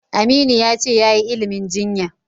Aminu ya ce yayi ilimin jinya.